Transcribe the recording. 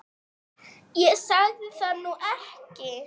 Ég sagði það nú ekki